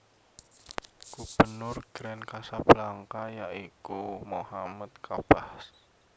Gubernur Grand Casablanca yaiku Mohammed Kabbaj